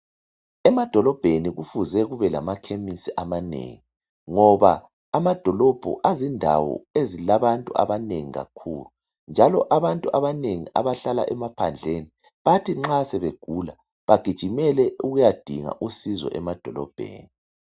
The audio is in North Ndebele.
Emadolobheni kufuze kubelamakhemisi amanengi ngoba amadolobho azindawo ezilabantu abanengi kakhulu. Njalo abantu abanengi abahlala emaphandleni bathi nxa sebegula begijimele ukuyadinga usizo emadolobheni.